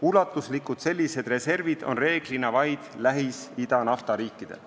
Sellised ulatuslikud reservid on reeglina vaid Lähis-Ida naftariikidel.